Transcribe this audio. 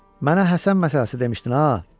Mənə Həsən məsələsi demişdin ha.